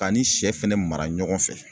K'a ni sɛ fɛnɛ mara ɲɔgɔn fɛ